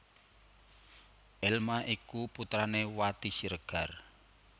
Elma iku putrané Wati Siregar